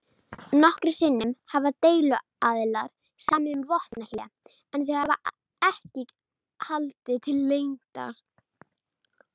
Nokkrum sinnum hafa deiluaðilar samið um vopnahlé en þau hafa ekki haldið til lengdar.